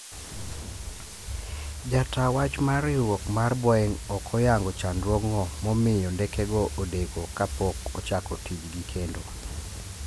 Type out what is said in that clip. Jataa wach ma riwruok mar Boeing' ok oyango chandruogno momiyo ndekego odeko ka pok ochako tijgi kendo.